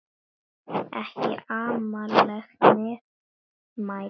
Ekki amaleg meðmæli það.